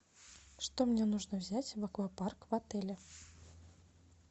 что мне нужно взять в аквапарк в отеле